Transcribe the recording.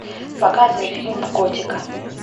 показывай фильм готика